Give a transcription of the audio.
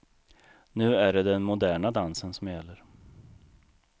Nu är det den moderna dansen som gäller.